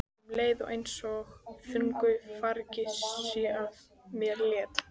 Um leið er einsog þungu fargi sé af mér létt.